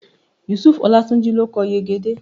Yusufu Olátúnjí ló kọ Yegede